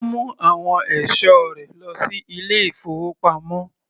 Ó mu àwọn ẹ̀sọ́ rẹ lọ sí ilé-ìfowópamọ́.